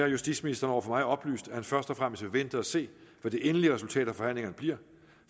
justitsministeren over for mig oplyst at han først og fremmest vil vente og se hvad det endelige resultat af forhandlingerne bliver